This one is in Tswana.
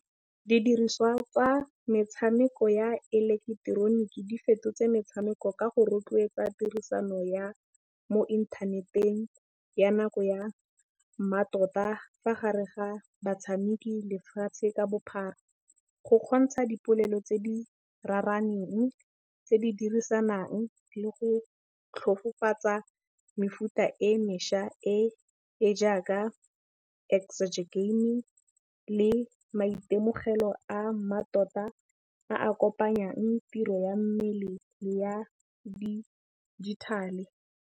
Didiriswa tsa metšhameko ya eleketeroniki di fetotse metšhameko ka go rotloetsa tirisano ya mo inthaneteng ya nako ya mmatota fa gare ga batšhameki lefatšhe ka bophara. Go kgontšha dipolelo tse di raraneng tse di dirisanang le go tlhokofatsa mefuta e mešwa e jaaka game le maitemogelo a mmatota a kopanyang tiro ya mmele le ya digital-e.